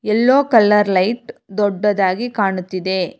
ಎಲ್ಲೋ colour light ದೊಡ್ಡದಾಗಿ ಕಾಣುತ್ತಿದೆ.